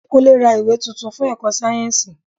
Kúnlé ra ìwé tuntun fún èkó sáyẹ́nsì.